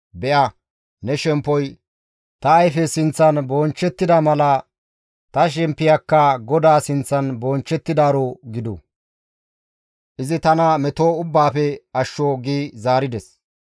Be7a ne shemppoy ta ayfe sinththan bonchchettida mala ta shemppiyakka GODAA sinththan bonchchettidaaro gidu; izi tana meto ubbaafe ashsho» gi zaarides.